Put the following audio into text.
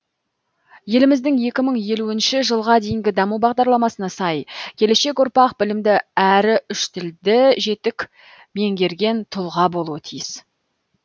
еліміздің екі мың елуінші жылға дейінгі даму бағдарламасына сай келешек ұрпақ білімді әрі үш тілді жетік меңгерген тұлға болуы тиіс